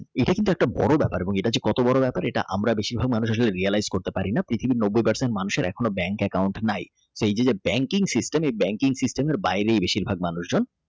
একটা বড় ব্যাপার এটা হচ্ছে কটা বউ কত বড় ব্যাপার আমরা বেশিরভাগ মানুষ Realize করতে পারিনা পৃথিবীর নব্বই পার্সেন্ট মানুষের এখনো bank account নাই এই যে Banking System Banking System বাইরে বেশিরভাগ মানুষ হয়ে যান।